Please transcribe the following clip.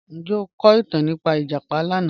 Njẹ o ko itan nipa ijapa lana?